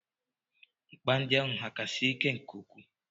Nkpa ndi ahụ hà ka siri ike nke ukwuu?